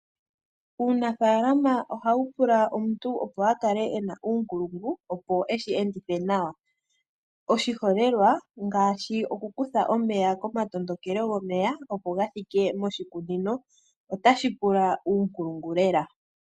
Uunafalama oha wu pula omuntu opo a kale e na uunkulungu opo eshi endithe nawa, oshiholelwa ngaashi oku kutha omeya komatondokelo gomeya opo ga thike moshikunino ota shi pula uunkulungu lela.